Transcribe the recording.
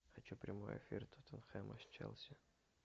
хочу прямой эфир тоттенхэма с челси